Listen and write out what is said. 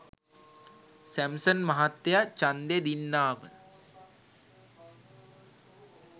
Samson මහත්තය චන්දේ දින්නාම